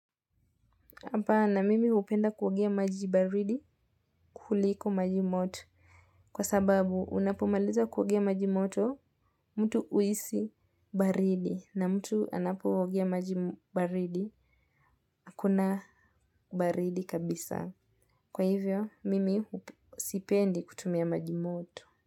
Hapa na mimi hupenda kuogea maji baridi kuliko maji moto kwa sababu unapomaliza kuogea maji moto mtu huisi baridi na mtu anapoegea majibaridi akuna baridi kabisa. Kwa hivyo mimi sipendi kutumia maji moto.